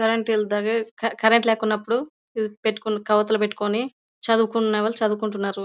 Current ఎల్తాడై క క కరెంటు లేకపోయినపుడు పెట్టుకుని కొవ్వొత్తులు పెట్టుకుని చదువుకునే వాళ్ళు చదువుకుంటున్నారు.